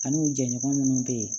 Ani u jɛɲɔgɔn minnu bɛ yen